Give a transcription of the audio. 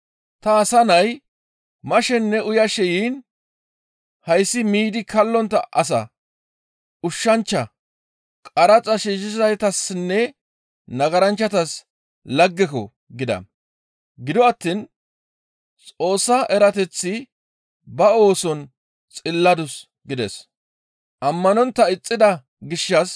Ta Asa Nay mashenne uyashe yiin, ‹Hayssi miidi kallontta asa, ushshanchcha, qaraxa shiishshizaytassinne nagaranchchatas laggeko!› gida. Gido attiin Xoossa erateththi ba ooson xilladus» gides.